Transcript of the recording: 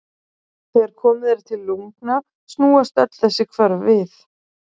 Þegar komið er til lungna snúast öll þessi hvörf við.